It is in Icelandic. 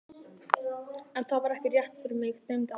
En það var ekki rétt, mig dreymdi aldrei neitt.